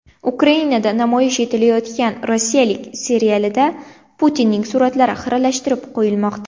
Ukrainada namoyish etilayotgan Rossiya serialidagi Putinning suratlari xiralashtirib qo‘yilmoqda.